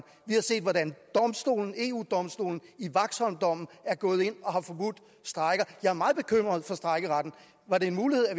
vi har set hvordan eu domstolen i waxholmdommen er gået ind og har forbudt strejker jeg er meget bekymret for strejkeretten var det en mulighed at